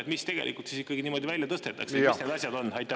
Aga mis tegelikult ikkagi niimoodi välja tõstetakse, mis need asjad on?